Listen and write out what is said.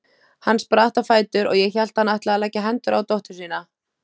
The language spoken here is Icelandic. Hann spratt á fætur og ég hélt hann ætlaði að leggja hendur á dóttur sína.